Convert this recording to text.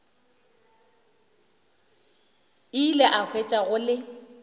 ile a hwetša go le